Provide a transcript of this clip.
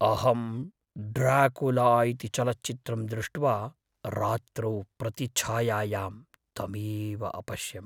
अहं ड्राकुला इति चलच्चित्रं दृष्ट्वा, रात्रौ प्रतिछायायां तमेव अपश्यम्।